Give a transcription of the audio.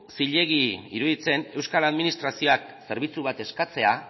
zilegi iruditzen euskal administrazioak zerbitzu bat eskatzea